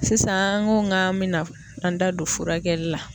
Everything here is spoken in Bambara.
Sisan n ko nka bina an da don furakɛli la